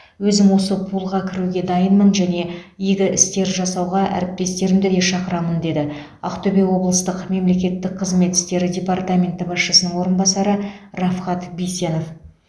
өзім осы пулға кіруге дайынмын және игі істер жасауға әріптестерімді де шақырамын деді ақтөбе облыстық мемлекеттік қызмет ісері департаменті басшысының орынбасары рафхат бисенов